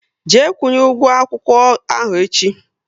Jee kwunye ụgwọ akwụkwọ ahụ echi!